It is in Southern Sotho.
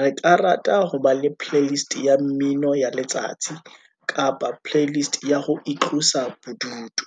re ka rata ho ba le playlist ya mmino ya letsatsi, kapa playlist ya ho itlosa bodutu.